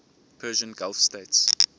persian gulf states